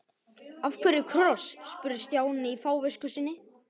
Af hverju kross? spurði Stjáni í fávisku sinni.